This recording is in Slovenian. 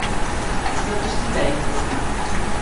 Zapustila jih bo.